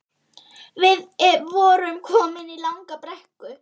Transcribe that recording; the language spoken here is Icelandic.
Við vorum komin í langa brekku